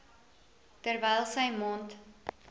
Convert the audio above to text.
terwyl sy mond